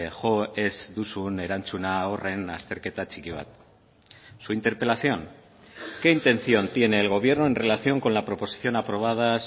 jo ez duzun erantzuna horren azterketa txiki bat su interpelación qué intención tiene el gobierno en relación con la proposición aprobada